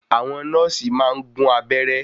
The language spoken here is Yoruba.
Àwọn nọ́ọ̀sì maá n gún abẹ́ẹ́rẹ́